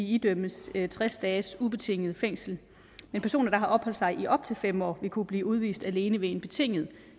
idømmes tres dages ubetinget fængsel men personer der har opholdt sig i op til fem år vil kunne blive udvist alene ved en betinget